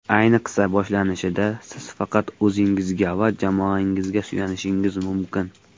Ayniqsa boshlanishida, siz faqat o‘zingizga va jamoangizga suyanishingiz mumkin.